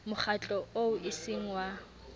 mokgatlo oo e seng wa